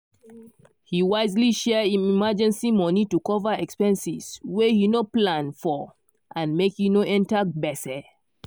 he wisely share him emergency money to cover expenses wey he no plan forand make he no enter gbese